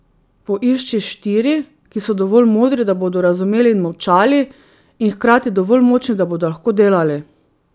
Poišči štiri, ki so dovolj modri, da bodo razumeli in molčali, in hkrati dovolj močni, da bodo lahko delali.